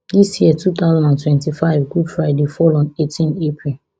dis year two thousand and twenty-fivegood fridayfall on eighteen april